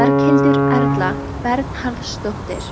Berghildur Erla Bernharðsdóttir: